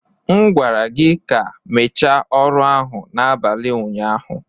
M gwara gị ka mechaa ọrụ ahụ n'abalị ụnyaahụ.